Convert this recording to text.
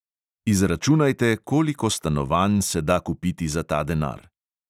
Izračunajte, koliko stanovanj se da kupiti za ta denar!